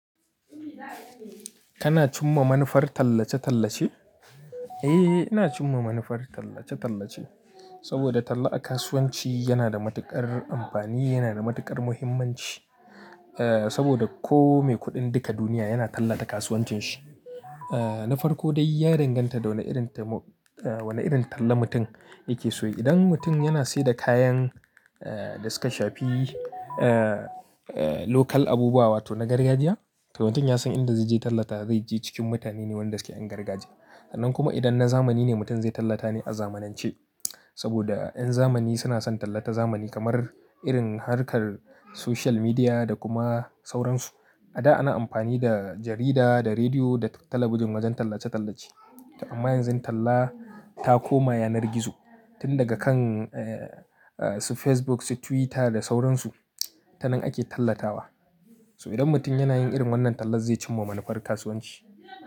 Kana cimma manufar tallace-tallace? Eh, ina cimma manufar tallace-tallace. Saboda talla a kasuwanci yana da matuƙar amfani, yana da matuƙar muhimmanci. Eh, saboda ko me kuɗin duka duniya yana tallata kasuwancin shi. Eh, na farko dai ya danganta da wane irin ta-- wane irin talla mutum yake so yayi. Idan mutum yana sida kayan, eh, da suka shafi, eh, eh, local abubuwa wato na gargajiya, to mutum ya san inda zai je ya tallata, zai je cikin mutane ne wanda suke yan gargajiya. Sannan kuma idan na zamani ne mutum zai tallata ne a zamanance. Saboda ƴan zamani suna son tallata zamani kamar irin harkar social media da kuma sauransu. A da ana amfani da jarida, da rediyo, da talabijin wajen tallace-tallace. Amma yanzun talla ta koma yanar gizo. Tun daga kan, eh, su Facebook, su Twitter da sauransu, ta nan ake tallatawa. So idan mutum yanayin irin wannan tallan zai cimma manufar kasuwanci.